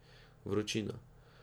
Vročina.